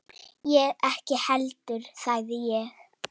Ég ekki heldur sagði ég.